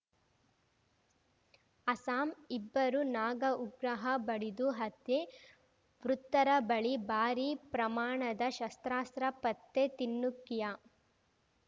ಅಸ್ಸಾಂ ಇಬ್ಬರು ನಾಗಾ ಉಗ್ರಹ ಬಡಿದು ಹತ್ಯೆ ಮೃತ್ತರ ಬಳಿ ಭಾರಿ ಪ್ರಮಾಣದ ಶಸ್ತ್ರಾಸ್ತ್ರ ಪತ್ತೆ ತ್ತಿನ್ನುಕಿಯಾ